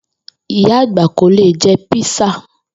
Ìyá àgbà kò lè je̩ písà